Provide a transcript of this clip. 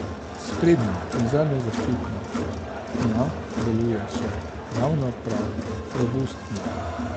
S sprednjo in zadnjo zaščito dna deluje še ravno prav robustno.